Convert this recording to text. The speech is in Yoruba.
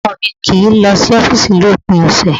Ọkọ mi kì í lọ sí ọ́fìsì ni òpin ọ̀sẹ̀